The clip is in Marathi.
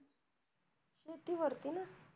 शेती वरती ना